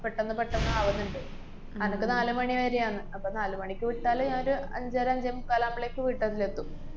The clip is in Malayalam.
പെട്ടന്ന് പെട്ടന്ന് ആവുന്ന്ണ്ട്. അനക്ക് നാല് മണി വരെയാന്ന്. അപ്പ നാല് മണിക്ക് വിട്ടാല് ഞാനൊരു അഞ്ചര അഞ്ചേമുക്കാലാവുമ്പളേക്കും വീട്ടലിലെത്തും.